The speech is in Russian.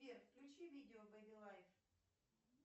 сбер включи видео бэби лайф